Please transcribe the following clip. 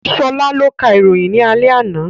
Sola ló ka ìròyìn ní alẹ́ àná